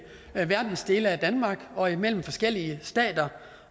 dele af danmark og imellem forskellige stater